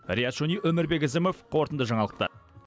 риат шони өмірбек ізімов қорытынды жаңалықтар